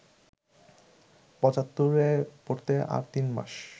পঁচাত্তরে পড়তে আর তিনমাস